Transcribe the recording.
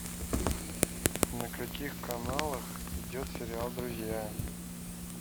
на каких каналах идет сериал друзья